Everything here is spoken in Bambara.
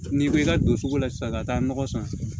N'i bɛ i ka don sugu la sisan ka taa nɔgɔ san